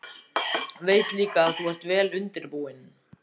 Veit líka að þú ert vel undirbúinn.